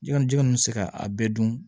Jɔn jɛgɛ ninnu bɛ se ka a bɛɛ dun